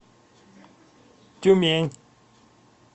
тюмень